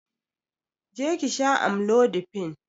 Je ki sha amlodipine!